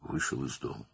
evdən çıxdı.